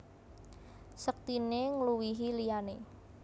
Sektiné ngluwihi liyané